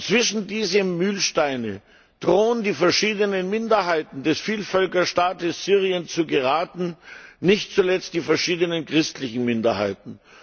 Zwischen diese Mühlsteine drohen die verschiedenen Minderheiten des Vielvölkerstaates Syriens zu geraten, nicht zuletzt die verschiedenen christlichen Minderheiten.